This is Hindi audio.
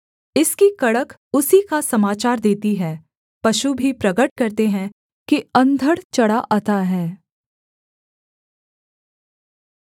इसकी कड़क उसी का समाचार देती है पशु भी प्रगट करते हैं कि अंधड़ चढ़ा आता है